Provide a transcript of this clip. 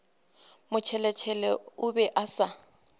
motšheletšhele o be a sa